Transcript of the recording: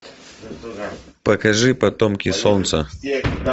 покажи потомки солнца